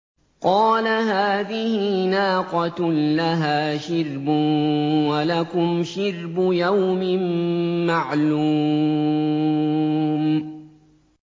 قَالَ هَٰذِهِ نَاقَةٌ لَّهَا شِرْبٌ وَلَكُمْ شِرْبُ يَوْمٍ مَّعْلُومٍ